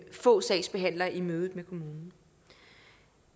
få sagsbehandlere i mødet med kommunen